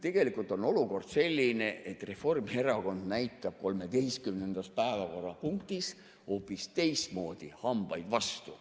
Tegelikult on olukord selline, et Reformierakond näitab 13. päevakorrapunktis hoopis teistmoodi hambaid vastu.